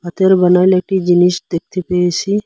হাতের বানানো একটি জিনিস দেখতে পেয়েসি ।